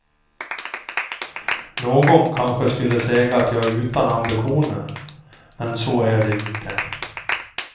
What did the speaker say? Någon kanske skulle säga att jag är utan ambitioner, men så är det inte.